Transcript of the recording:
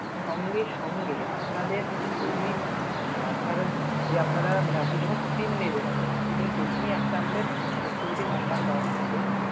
সঙ্গে সঙ্গে আপনাদের যদি মানে আপনারা যে আপনারা মানে আপনি যখন SIM নেবেন, আপনাদের SIM এর পিছনে একটা আমাদের connectivity number দেওয়া থাকবে।